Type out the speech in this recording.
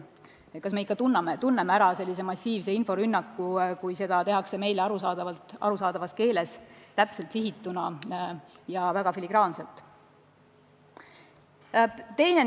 Kas me ikka tunneme ära massiivse inforünnaku, kui seda tehakse meile arusaadavas keeles täpselt sihituna ja väga filigraanselt?